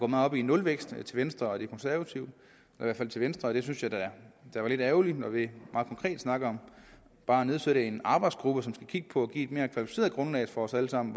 meget op i nulvækst i venstre og de konservative i venstre og det synes jeg da er lidt ærgerligt når vi meget konkret snakker om bare at nedsætte en arbejdsgruppe som skal kigge på at give et mere kvalificeret grundlag for os alle sammen